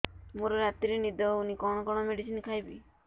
ମୋର ରାତିରେ ନିଦ ହଉନି କଣ କଣ ମେଡିସିନ ଖାଇବି